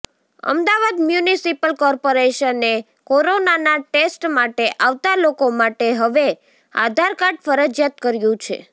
Ahmedabad municipal કોર્પોરેશને કોરોનાના test માટે આવતા લોકો માટે હવે આધારકાર્ડ ફરજિયાત કર્યું છે